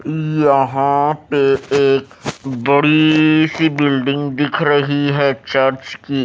यहां पे एक बड़ी सी बिल्डिंग दिख रही है चर्च की--